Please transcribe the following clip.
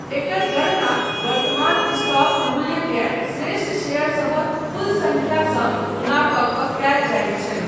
एकर गणना वर्तमान स्टॉक मूल्यकेँ श्रेष्ठ शेयरसभक कुल सङ्ख्यासँ गुणा कऽ कऽ कयल जाइत छै।